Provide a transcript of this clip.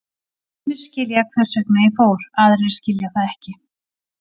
Sumir skilja hvers vegna ég fór, aðrir skilja það ekki.